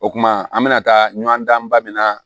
O kumana an bɛna taa ɲɔn dan ba min na